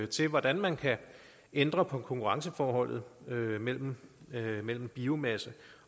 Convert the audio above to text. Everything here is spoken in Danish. til hvordan man kan ændre på konkurrenceforholdet mellem mellem biomasse